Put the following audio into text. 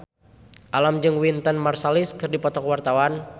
Alam jeung Wynton Marsalis keur dipoto ku wartawan